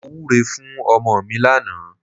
Mo wúre fún ọmọ mi lánàá.